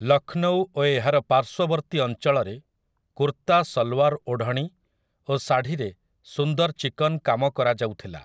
ଲକ୍ଷ୍ନୌ ଓ ଏହାର ପାର୍ଶ୍ୱବର୍ତ୍ତୀ ଅଞ୍ଚଳରେ କୁର୍ତା ସଲୱାର୍ ଓଢ଼ଣୀ ଓ ଶାଢ଼ୀରେ ସୁନ୍ଦର ଚିକନ୍ କାମ କରାଯାଉଥିଲା ।